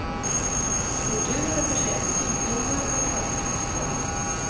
Skulpturen är försedd med sidnummer och klassiska citat.